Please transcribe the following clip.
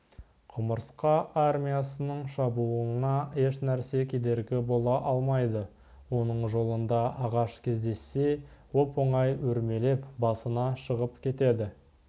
құмырсқа армиясының шабуылына ешнәрсе кедергі бола алмайды оның жолында ағаш кездессе оп-оңай өрмелеп басына шығып кетеді